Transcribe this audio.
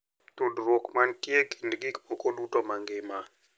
tudruok ma nitie e kind gik moko duto ma ngima,